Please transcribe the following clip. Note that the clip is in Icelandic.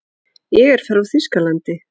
Ég er frá Þýskalandi.